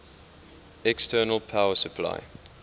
external power supply